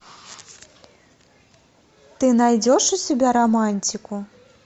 ты найдешь у себя романтику